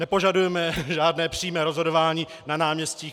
Nepožadujeme žádné přímé rozhodování na náměstích.